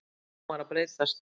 Hún var að breytast.